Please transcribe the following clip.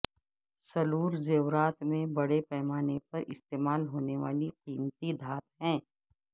silver زیورات میں بڑے پیمانے پر استعمال ہونے والی قیمتی دھات ہے